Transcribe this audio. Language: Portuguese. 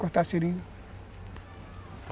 cortar seringa.